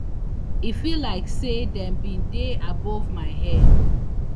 e feel like say dem bin dey above my head